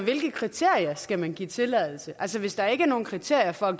hvilke kriterier skal man give tilladelse altså hvis der ikke er nogen kriterier for at